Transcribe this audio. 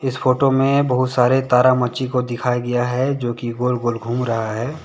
इस फोटो में बहुत सारे तारामची को दिखाया गया है जो कि गोल गोल घूम रहा है।